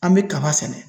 An bɛ kaba sɛnɛ